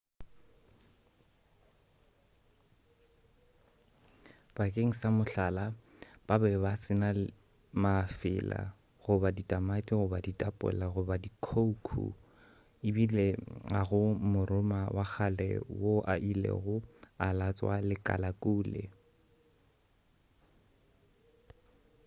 bakeng sa mohlala ba be ba se na mafela goba ditamati goba ditapola goba khoukhou ebile ga go moroma wa kgale wo a ilego a latswa lekalakune